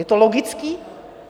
Je to logické?